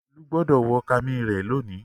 Olú gbọdọ̀ wọ kami rẹ lọ́la.